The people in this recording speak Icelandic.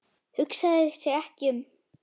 Hugsaði sig ekki um!